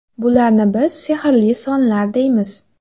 Bularni biz ‘sehrli sonlar’ deymiz ”.